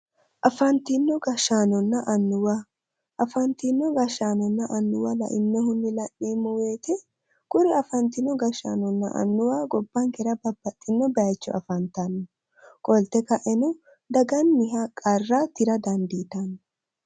Afantino gashshaanonna annuwa, afantino gashshaanonna annuwa la'neemmo woyite kuri afantino gashshaanonna annuwa gobbankera babbaxxino bayicho afantanno. Qolte ka'eno daganniha qarra tira dandiitanno.